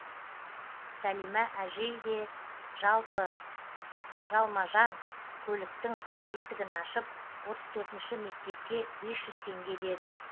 сәлимә әжей де жалпы жалма жан көліктің есігін ашып отыз төртінші мектепке бес жүз теңге деді